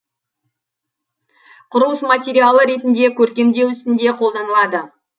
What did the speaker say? құрылыс материалы ретінде көркемдеу ісінде қолданылады